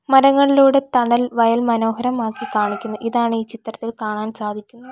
മരങ്ങളിലൂടെ തണൽ വയൽ മനോഹരമാക്കി കാണിക്കുന്നു ഇതാണ് ഈ ചിത്രത്തിൽ കാണാൻ സാധിക്കുന്നത്.